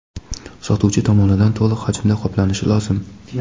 sotuvchi) tomonidan to‘liq hajmda qoplanishi lozim.